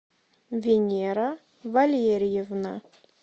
венера валерьевна